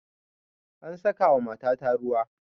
An saka wa matata ruwa